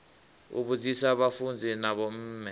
u vhudzisa vhafunzi na vhomme